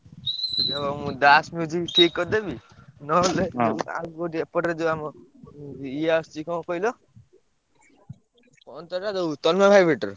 ଉଁ ଦାସ ଠିକ୍ କରିଦେବି? ନହେଲେ ଏପଟରେ ଯିଏ ଆମର ଇଏ ଆସୁଛି କଣ କହିଲ କଣ ଯୋଉଟା ।